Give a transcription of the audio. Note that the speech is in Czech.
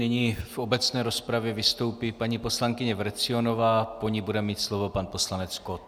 Nyní v obecné rozpravě vystoupí paní poslankyně Vrecionová, po ní bude mít slovo pan poslanec Kott.